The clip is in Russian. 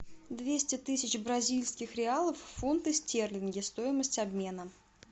двести тысяч бразильских реалов в фунты стерлинги стоимость обмена